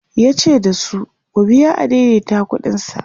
yace dasu "ku biya adaidaita ƙuɗin sa"